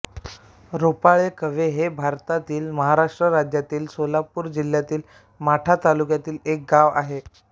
रोपाळे कव्हे हे भारतातील महाराष्ट्र राज्यातील सोलापूर जिल्ह्यातील माढा तालुक्यातील एक गाव आहे